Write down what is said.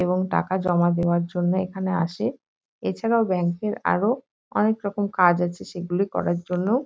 এবং টাকা জমা দেওয়ার জন্য এখানে আসে। এছাড়াও ব্যাংক -এর আরো অনেকরকম কাজ আছে সেগুলি করার জন্যও--